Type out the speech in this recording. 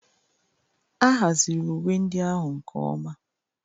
A haziri uwe ndị ahụ nke ọma